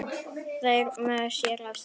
Þetta er mjög sérhæft starf.